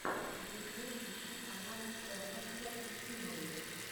ютьюб ищи канал тернокса и химари